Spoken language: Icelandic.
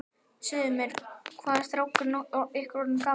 Segðu mér, hvað er strákurinn ykkar orðinn gamall?